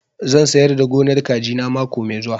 Zan sayar da gonar kaji na mako mai zuwa